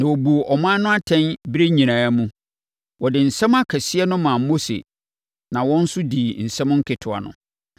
Na wɔbuu ɔman no atɛn berɛ nyinaa mu. Wɔde nsɛm akɛseɛ no maa Mose na wɔn nso dii nsɛm nketewa no.